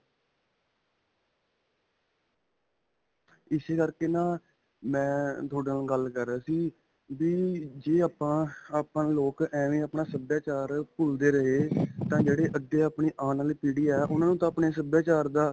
ਇਸੇ ਕਰਕੇ ਨਾ ਮੈਂ ਤੁਹਾਡੇ ਨਾਲ ਗੱਲ ਕਰ ਰਿਹਾ ਸੀ ਵੀ ਜੇ ਆਪਾਂ, ਆਪਾਂ ਨੂੰ ਲੋਕ ਐਂਵੇਂ ਅਪਣਾ ਸਭਿਆਚਾਰ ਭੁੱਲਦੇ ਰਹੇ ਤਾਂ ਜਿਹੜੇ ਅੱਗੇ ਆਪਣੀ ਆਉਣ ਵਲੀ ਪੀੜੀ ਹੈ 'ਤੇ ਉਨ੍ਹਾਂ ਨੂੰ ਤਾ ਆਪਣੇ ਸਭਿਆਚਾਰ ਦਾ.